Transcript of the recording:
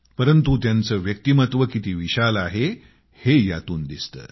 परंतु त्यांचे व्यक्तिमत्व किती विशाल आहे हे यातून दिसते